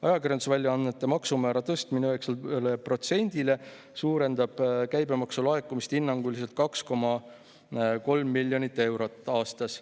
Ajakirjandusväljaannete maksumäära tõstmine 9%-le suurendab käibemaksu laekumist hinnanguliselt 2,3 miljonit eurot aastas.